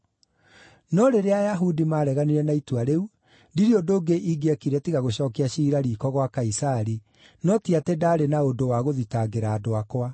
No rĩrĩa Ayahudi maareganire na itua rĩu, ndirĩ ũndũ ũngĩ ingĩekire tiga gũcookia ciira riiko gwa Kaisari, no ti atĩ ndaarĩ na ũndũ wagũthitangĩra andũ akwa.